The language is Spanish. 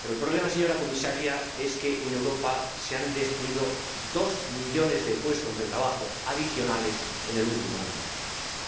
Pero el problema, señora Comisaria, es que en Europa se han destruido dos millones de puestos de trabajo adicionales en el último año,